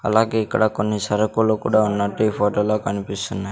అలాగే ఇక్కడ కొన్ని సరుకులు కూడా ఉన్నట్టు ఈ ఫోటోలో కనిపిస్తున్నాయ్.